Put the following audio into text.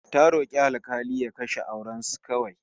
Ta rok'i alk'ali ya kashe auren su kawai